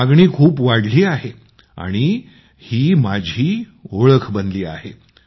मागणी इतकी वाढली आहे की तेव्हापासून आणि माझी ओळख बनली आहे